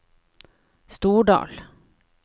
Stordal